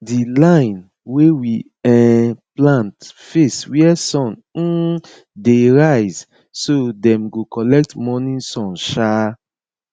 di line wey we um plant face wia sun um dey rise so dem go collect morning sun um